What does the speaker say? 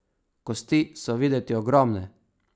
Kosti so videti ogromne.